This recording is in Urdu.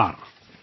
نمسکار